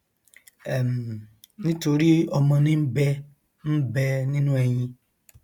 um nítorí ọmọ ní ń bẹ ń bẹ nínú ẹyin